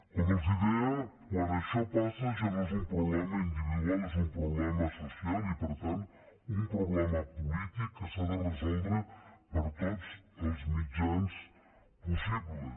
com els deia quan això passa ja no és un problema individual és un problema social i per tant un problema polític que s’ha de resoldre per tots els mitjans possibles